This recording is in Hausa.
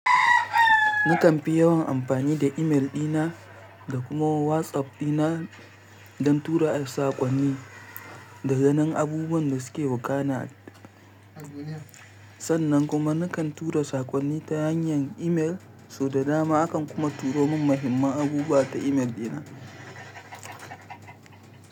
Nakan fi yawan amfani da i-mel dina da kuma WhatsApp dina don tura saƙonni da ganin abubuwan da suke wakana. Sannan kuma nakan tura saƙonni ta hanyar i-mel, sau da dama akan kuma turo mun muhimman abubuwa ta i-mel dina.